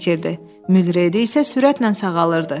Mülredi isə sürətlə sağalırdı.